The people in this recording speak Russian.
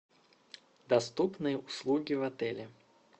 доступные услуги в отеле